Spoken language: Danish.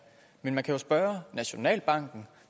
men man kan jo spørge nationalbanken